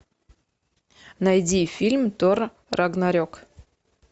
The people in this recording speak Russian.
найди фильм тор рагнарек